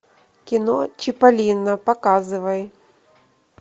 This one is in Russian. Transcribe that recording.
кино чиполлино показывай